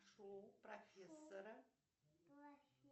шоу профессора